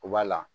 U b'a la